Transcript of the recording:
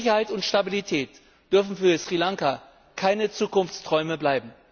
Sicherheit und Stabilität dürfen für Sri Lanka keine Zukunftsträume bleiben.